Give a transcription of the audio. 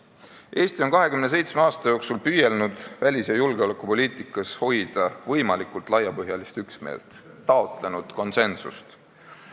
Eesti on 27 aasta jooksul püüelnud välis- ja julgeolekupoliitikas võimalikult laiapõhjalise üksmeele poole, taotlenud konsensust.